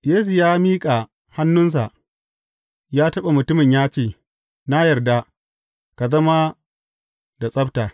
Yesu ya miƙa hannunsa ya taɓa mutumin ya ce, Na yarda, ka zama da tsabta!